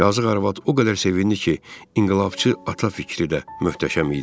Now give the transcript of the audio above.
Yazıq arvad o qədər sevindi ki, inqilabçı ata fikri də möhtəşəm idi.